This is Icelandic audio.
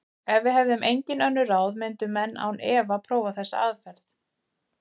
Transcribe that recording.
Ef við hefðum engin önnur ráð myndu menn án efa prófa þessa aðferð.